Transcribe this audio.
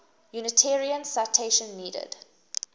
unitarians citation needed